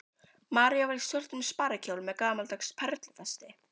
María var í svörtum sparikjól með gamaldags perlufesti.